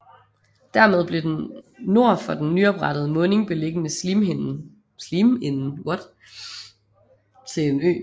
Dermed blev den nord for den nyoprettede munding beliggende Sliminde til en ø